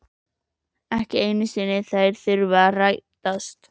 Ekki einu sinni þær þurfa að rætast.